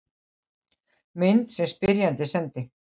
Mynd sem spyrjandi sendi.